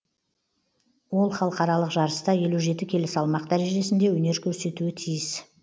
ол халықаралық жарыста елу жеті келі салмақ дәрежесінде өнер көрсетуі тиіс